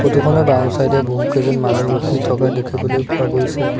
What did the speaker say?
Photo খনৰ বাওঁ side এ বহুকেইজন মানুহ ৰখি থকা দেখিবলৈ পোৱা গৈছে।